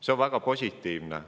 See on väga positiivne.